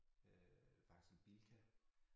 Øh faktisk en Bilka